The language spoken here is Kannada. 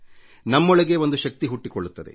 ನಮ್ಮೊಳಗೇ ಒಂದು ಶಕ್ತಿ ಹುಟ್ಟಿಕೊಳ್ಳುತ್ತದೆ